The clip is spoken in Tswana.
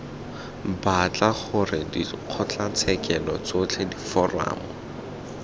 batla gore dikgotlatshekelo tsotlhe diforamo